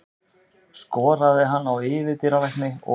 Skoraði hann á yfirdýralækni og